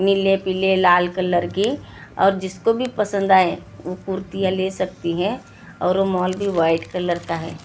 निले पिले लाल कलर की और जिसको भी पसंद आएं वो कुर्तीया ले सकती हैं और वो मॉल भी व्हाईट कलर का है।